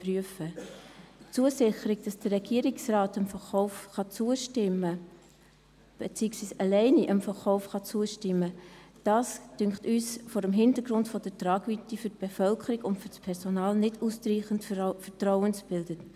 Die Zusicherung, dass der Regierungsrat dem Verkauf zustimmen beziehungsweise diesem alleine zustimmen kann, finden wir vor dem Hintergrund der Tragweite für die Bevölkerung und für das Personal nicht ausreichend vertrauensbildend.